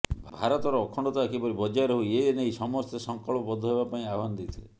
ଭାରତର ଅଖଣ୍ଡତା କିପରି ବଜାୟ ରହୁ ଏ ନେଇ ସମସ୍ତେ ସଂକଳ୍ପ ବଦ୍ଧ ହେବା ପାଇଁ ଆହ୍ବାନ ଦେଇଥିଲେ